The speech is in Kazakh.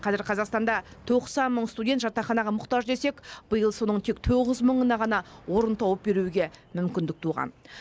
қазір қазақстанда тоқсан мың студент жатақханаға мұқтаж десек биыл соның тек тоғыз мыңына ғана орын тауып беруге мүмкіндік туған